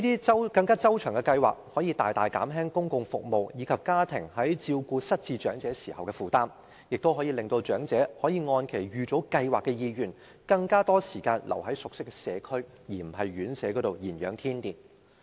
這些周詳的計劃可以大大減輕公共服務，以及家庭在照顧失智長者時的負擔，亦令長者可以按其預早計劃的意願，花更多時間留在熟悉的社區，而不是在院舍頤養天年。